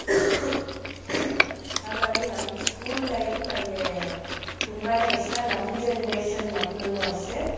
ಹಾಗಾಗಿ ನಮ್ school life ಇಗೆ ನನ್ಗೆ ತುಂಬಾನೇ ಇಷ್ಟ ನಮ್ generation ಮಕ್ಳುನು ಅಷ್ಟೇ.